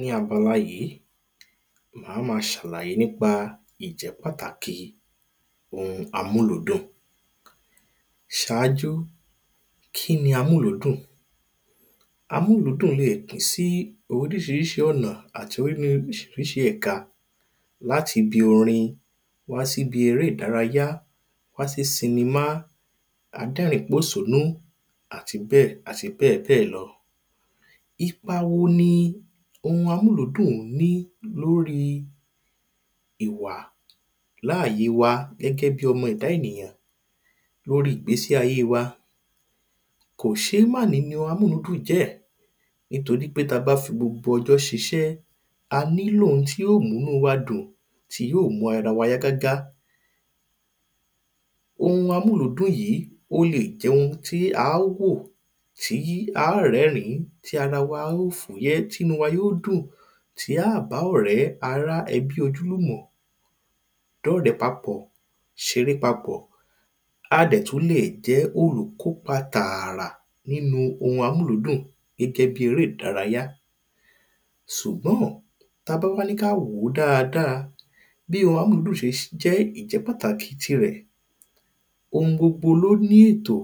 ní abala yìí màá ma ṣàlàyé nípa ìjẹ́ pàtàki ohun amúludùn ṣáájú kí ni amúludùn amúludùn lè pín sí oríṣiríṣi ọ̀nà àti oríṣiríṣi ẹ̀ka láti ibi orin wá sí ibi eré ìdárayá wá sí sinimá adẹ́rínpòsúnú àti bẹ́ẹ̀ àti bẹ́ẹ̀ bẹ́ẹ̀ lọ ipa wo ni ohun amúludùn ní lóri ìwà láàye wa gẹ́gẹ́ bí ọmọ ẹ̀da ènìyàn lórí ìgbésí ayé wa kòṣémáàní ni ohun amúludùn jẹ́ẹ́ nìtori pé ta bá fi gbogbo ọjọ́ ṣiṣẹ́ a ní lò ohun tí ó mú nú wa dùn tí yóò mú ara wa yá gágá ohun amúludùn yìí ó le jẹ ohun tí aá wò tí á rẹ́rìn-ín tí ara wa ó fúyẹ́ tí nú wa ó dùn tí á bá ọ̀rẹ́, ará, ẹbí, ojúlùmọ̀ dọ́rẹ́ papọ̀ ṣeré papọ̀ a dẹ̀ tú leè jẹ́ olùkópa tààrà nínu ohun amúludùn gẹ́gẹ́ bí eré ìdárayá sùgbọ́n-ọ̀n ta bá níká wòó dáadáa bí ohun amúludùn ṣe jẹ́ ìjẹ́ pàtàkì ti rẹ̀ ohun gbogbo ló ní ètò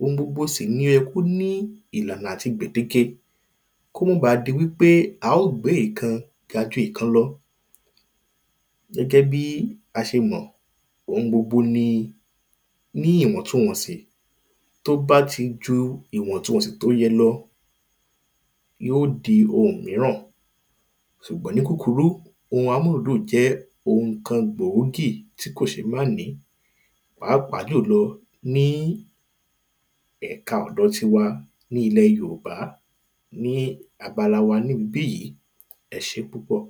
ohun gbogbo sì ló yẹ kó ní ìlànà àti gbèdéke kó ma ba di wí pé a ó gbé ìkan ga ju ìkan lọ gẹ́gẹ́ bí a ṣe mọ̀ ohun gbogbo ni ní ìwọ̀ntunwọ̀nsì tó bá ti ju ìwọ̀ntunwọ̀nsì tó yẹ lọ yó di ohun míràn sùgbọn ní kúkurú ohun amúludùn jẹ́ ohun kan gbòógì tí kòṣémáàní pàápàá jùlọ ni ẹ̀ka ọ̀dọ̀ wa ní ilẹ̀ yòòbá ní abala wa ní ibí yí e ṣé púpọ̀